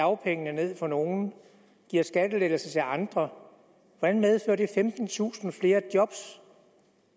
dagpengene ned for nogle og giver skattelettelser til andre hvordan medfører det femtentusind flere job